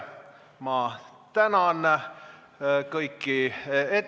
Ma tänan kõiki ettekandjaid, tänan kõiki küsijaid!